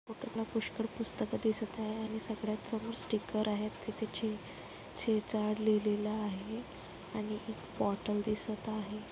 Photo तला पुष्कर पुस्तके दिसत आहे आणि सगळयाच समोर स्टीकर आहेत ते त्याची चे चेजाड लिहिलेल आहे आणि ही बोटल दिसत आहे.